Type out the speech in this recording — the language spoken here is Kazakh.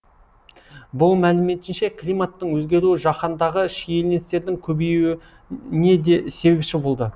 бұұ мәліметінше климаттың өзгеруі жаһандағы шиеленістердің көбеюіне де себепші болады